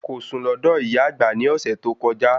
Kò sùn lọ́dọ̀ ìyá àgbà ní ọ̀sẹ̀ tó kọjá